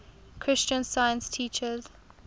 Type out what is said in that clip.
christian science teaches